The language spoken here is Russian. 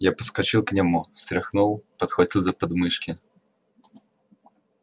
я подскочил к нему встряхнул подхватил за подмышки